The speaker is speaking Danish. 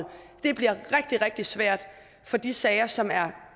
det bliver rigtig rigtig svært at få de sager som er